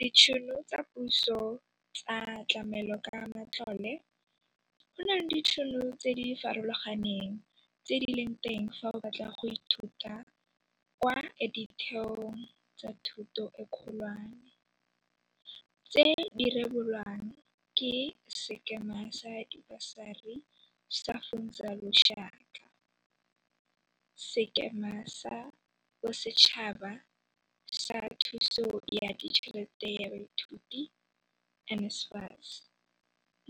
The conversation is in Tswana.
Ditšhono tsa puso tsa tlamelokamatlole Go na le ditšhono tse di farologaneng tse di leng teng fa o batla go ithuta kwa ditheong tsa thuto e kgolwane, tse di rebolwang ke Sekema sa Dibasari sa Funza Lushaka, Sekema sa Bosetšhaba sa Thuso ya Ditšhelete ya Baithuti NSFAS,